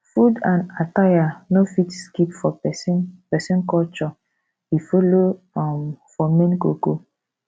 food and attire no fit skip for pesin pesin culture e follow um for main ko ko